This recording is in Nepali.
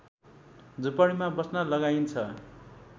झुपडीमा बस्न लगाइन्छ